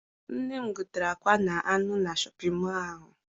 Nne m gotere akwa na anụ na Shọpịn mọọ ahụ.